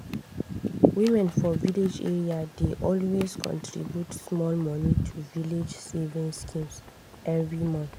women for village areas dey always contribute small money to village savings schemes every month.